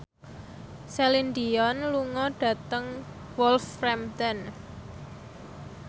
Celine Dion lunga dhateng Wolverhampton